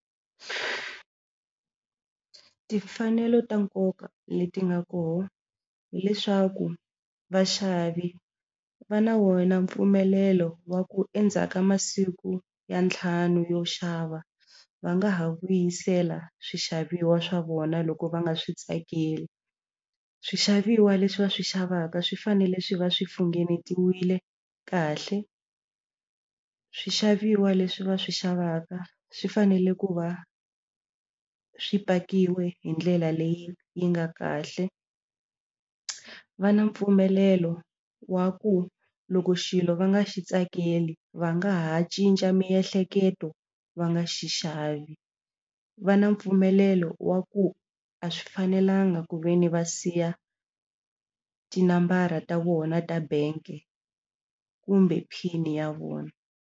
Timfanelo ta nkoka leti nga kona hileswaku vaxavi va na wona mpfumelelo wa ku endzhaku ka masiku ya ntlhanu wo xava va nga ha vuyisela swixaviwa swa vona loko va nga swi tsakeli swixaviwa leswi va swi xavaka swi fanele swi va swi funengetiwile kahle swixaviwa leswi va swi xavaka swi fanele ku va swi pakiwe hi ndlela leyi yi nga kahle va na mpfumelelo wa ku loko xilo va nga xi tsakeli va nga ha cinca miehleketo va nga xi xavi va na mpfumelelo wa ku a swi fanelanga ku ve ni va siya tinambara ta vona ta bank kumbe pin ya vona.